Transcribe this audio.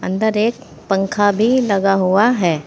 अंदर एक पंखा भी लगा हुआ है।